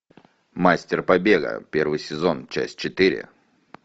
мастер побега первый сезон часть четыре